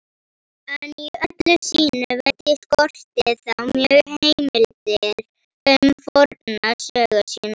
En í öllu sínu veldi skorti þá mjög heimildir um forna sögu sína.